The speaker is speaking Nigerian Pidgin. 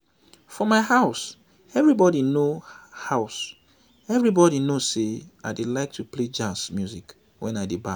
for my house everybody know house everybody know say i dey like to play jazz music wen i dey baff